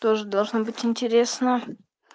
тоже должно быть интересно